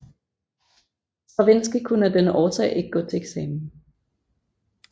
Stravinskij kunne af denne årsag ikke gå til eksamen